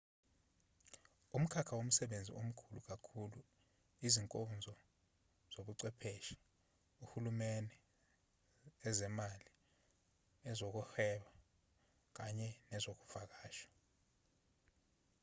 umkhakha womsebenzi omkhulu kakhulu izinkonzo zobuchwepheshe uhulumeni ezemali ezokwehweba kanye nezokuvakasha